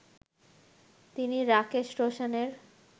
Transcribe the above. তিনি রাকেশ রোশানের